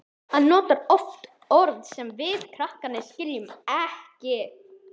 Hann notar oft orð sem við krakkarnir skiljum ekki.